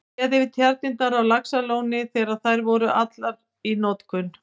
Séð yfir tjarnirnar á Laxalóni þegar þær voru allar í notkun.